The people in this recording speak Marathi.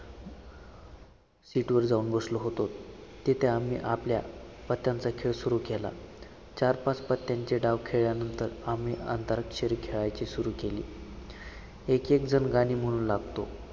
seat वर जाऊन बसलो होतो, तिथे आम्ही आपल्या पत्त्यांचा खेळ सुरू केला. चार, पाच पत्त्यांचे डाव खेळल्यानंतर आम्ही अंताक्षरी खेळायची सुरू केली. एक एक जण गाणी म्हणु लागतो.